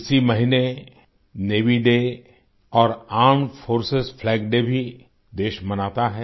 इसी महीने Navy Day और आर्मेड फोर्सेस फ्लैग डे भी देश मनाता है